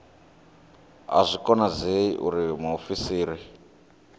a zwi konadzei uri muofisiri